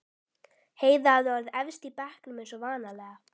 Heiða hafði orðið efst í bekknum eins og vanalega.